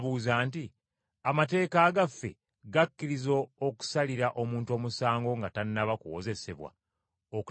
“Amateeka gaffe gakkiriza okusalira omuntu omusango nga tannaba kuwozesebwa okutegeera ky’akoze?”